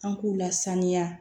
An k'u lasaniya